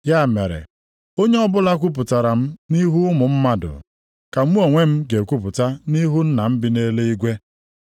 “Ya mere, onye ọbụla kwupụtara m nʼihu ụmụ mmadụ, ka mụ onwe m ga-ekwupụta nʼihu Nna m bi nʼeluigwe.